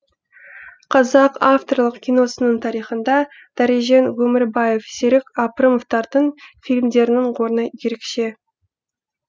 қазақ авторлық киносының тарихында дәрежан өмірбаев серік апрымовтардың фильмдерінің орны ерекше